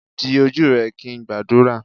di oju rẹ kin ngbadura.